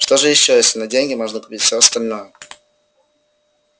что же ещё если на деньги можно купить все остальное